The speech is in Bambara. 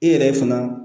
E yɛrɛ fana